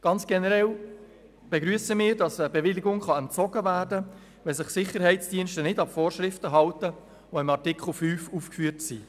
Ganz generell begrüssen wir, dass die Bewilligung entzogen werden kann, wenn sich Sicherheitsdienste nicht an die Vorschriften halten, die in Artikel 5 aufgeführt sind.